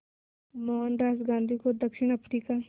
मोहनदास गांधी को दक्षिण अफ्रीका